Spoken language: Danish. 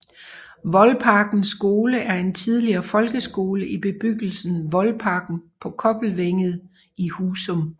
Voldparkens Skole er en tidligere folkeskole i bebyggelsen Voldparken på Kobbelvænget i Husum